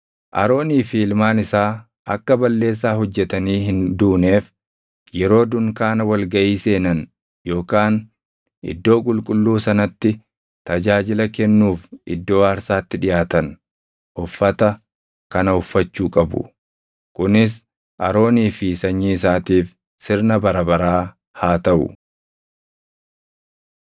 Aroonii fi ilmaan isaa akka balleessaa hojjetanii hin duuneef yeroo dunkaana wal gaʼii seenan yookaan Iddoo Qulqulluu sanatti tajaajila kennuuf iddoo aarsaatti dhiʼaatan uffata kana uffachuu qabu. “Kunis Aroonii fi sanyii isaatiif sirna bara baraa haa taʼu.